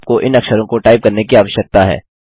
आपको इन अक्षरों को टाइप करने की आवश्यकता है